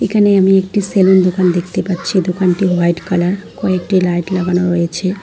এখানে আমি একটি সেলুন দোকান দেখতে পাচ্ছি দোকানটি হোয়াইট কালার কয়েকটি লাইট লাগানো রয়েছে।